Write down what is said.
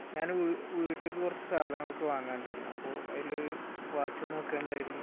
ഞാൻ വീട്ട്, വീട്ടിലേക്ക് കുറച്ച് സാധനങ്ങൾ ഒക്കെ വാങ്ങാൻ ഉണ്ടായിരുന്നു. അതിൽ വാച്ച് നോക്കാൻ ഉണ്ടായിരുന്നു.